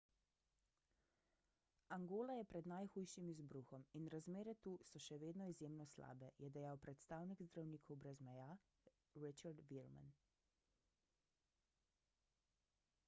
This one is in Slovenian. angola je pred najhujšim izbruhom in razmere tu so še vedno izjemno slabe je dejal predstavnik zdravnikov brez meja richard veerman